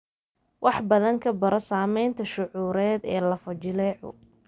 Wax badan ka baro saameynta shucuureed ee lafo-jileecu.